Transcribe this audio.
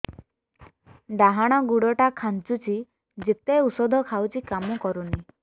ଡାହାଣ ଗୁଡ଼ ଟା ଖାନ୍ଚୁଚି ଯେତେ ଉଷ୍ଧ ଖାଉଛି କାମ କରୁନି